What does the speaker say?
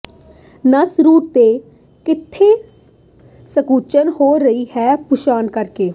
ਨਸ ਰੂਟ ਤੇ ਕਿੱਥੇ ਸੰਕੁਚਨ ਹੋ ਰਿਹਾ ਹੈ ਦੀ ਪਛਾਣ ਕਰਕੇ